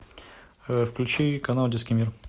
включи канал детский мир